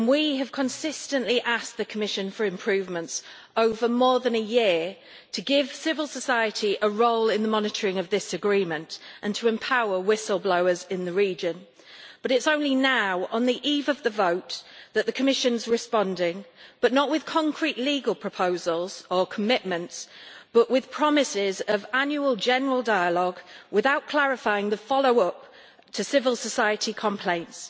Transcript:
We have consistently asked the Commission for improvements, over more than a year, to give civil society a role in the monitoring of this agreement and to empower whistleblowers in the region, but it is only now, on the eve of the vote, that the Commission is responding not with concrete legal proposals or commitments, but with promises of annual general dialogue without clarifying the follow-up to civil society complaints.